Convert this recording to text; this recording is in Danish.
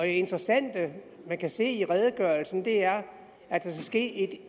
interessante man kan se i redegørelsen er at der skal ske